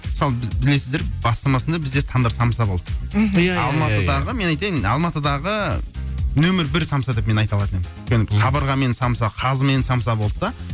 мысалы біз білесіздер бастамасында бізде тандыр самса болды мхм иә иә иә алматыдығы мен айтайын алматыдығы нөмір бір самса деп мен айта алатын едім өйткені қабырғамен самса қазымен самса болды да